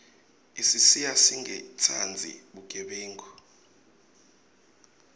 isisiya singatsandzi bugebengu